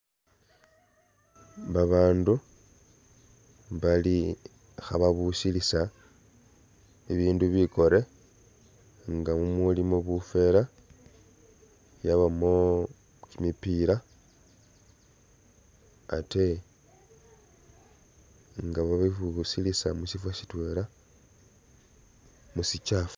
Babandu bali khaba'busilisa ibindu bikore nga mumulimo bufera ,yabamo kimipiira ate nga babibusilisa musifo sitwela mu'sikyafu